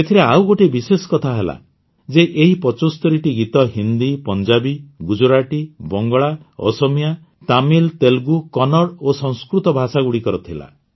ଏଥିରେ ଆଉ ଗୋଟିଏ ବିଶେଷ କଥା ହେଲା ଯେ ଏହି ୭୫ଟି ଗୀତ ହିନ୍ଦୀ ପଞ୍ଜାବୀ ଗୁଜରାଟି ବଙ୍ଗଳା ଅସମିଆ ତାମିଲ ତେଲୁଗୁ କନ୍ନଡ଼ ଓ ସଂସ୍କୃତ ଭାଷାଗୁଡ଼ିକର ଥିଲା